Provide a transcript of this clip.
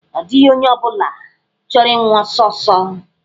Ọ dịghị onye ọ bụla chọrọ ịnwụ ọsọ ọsọ.